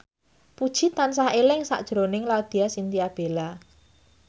Puji tansah eling sakjroning Laudya Chintya Bella